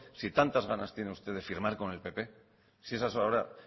si tantas ganas tiene usted de firmar con el pp si esa es ahora